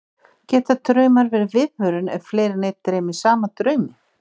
Geta draumar verið viðvörun, ef fleiri en einn dreymir sama drauminn?